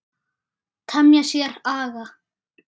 Temja sér aga.